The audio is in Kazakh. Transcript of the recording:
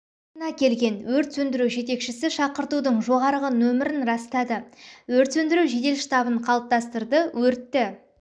орнына келген өрт сөндіру жетекшісі шақыртудың жоғарғы номерін растады өрт сөндіру жедел штабын қалыптастырды өртті